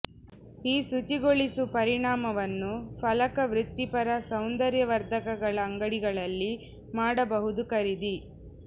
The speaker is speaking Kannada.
ಈ ಶುಚಿಗೊಳಿಸು ಪರಿಣಾಮವನ್ನು ಫಲಕ ವೃತ್ತಿಪರ ಸೌಂದರ್ಯವರ್ಧಕಗಳ ಅಂಗಡಿಗಳಲ್ಲಿ ಮಾಡಬಹುದು ಖರೀದಿ